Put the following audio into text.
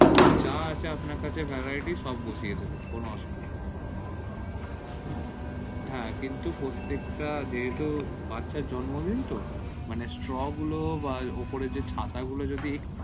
যা আছে আপনার কাছে variate সব বসিয়ে দিবেন কোনো অসুবিধা নেই হ্যা কিন্তু প্রত্যেক টা যেহেতু বাচ্চার জর্ন্মদিন তো মানে saw গুলো বা উপরে যে ছাতার গুলো একটু